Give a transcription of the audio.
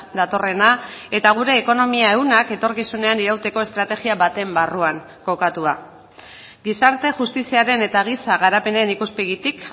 datorrena eta gure ekonomia ehunak etorkizunean irauteko estrategia baten barruan kokatua gizarte justiziaren eta giza garapenen ikuspegitik